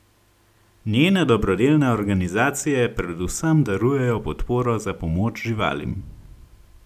Njene dobrodelne organizacije predvsem darujejo podporo za pomoč živalim.